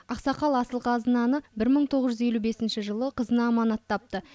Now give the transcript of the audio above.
ақсақал асыл қазынаны бір мың тоғыз жүз елу бесінші жылы қызына аманаттапты